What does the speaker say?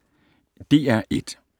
DR1